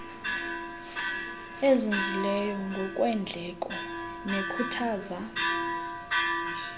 ezinzileyo ngokweendleko nekhuthaza